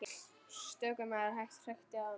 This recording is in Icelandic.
Stöku maður hrækti að honum.